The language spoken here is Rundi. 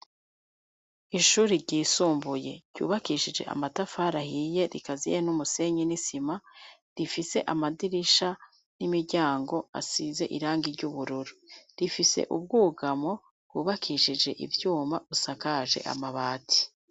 Ishuri ryisumbuye, ryubakishije amatafari ahiye, rikaziye n'umusenyi n'isima; rifise amadirisha, n'imiryango, asize irangi ry'ubururu; rifise ubwugamo, bwubakishije ivyuma, busakaje amabati.